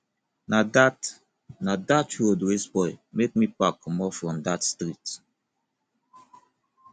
na dat na dat road wey spoil make me pack comot from dat street